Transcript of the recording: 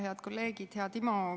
Head kolleegid!